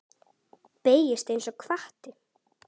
Beygist einsog hvati.